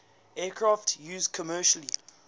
aircraft used commercial